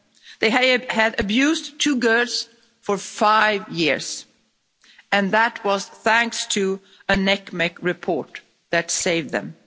They had had abused two girls for five years and that was thanks to a NCMEC report that saved them.